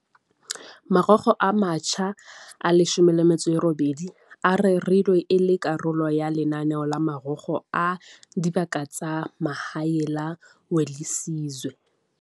Marokgo a matjha a 18 a rerilwe e le karolo ya lenaneo la Marokgo a Dibaka tsa Mahae la Welisizwe.